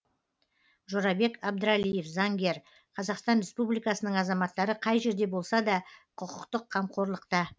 жорабек абдралиев заңгер қазақстан республикасының азаматтары қай жерде болса да құқықтық қамқорлықта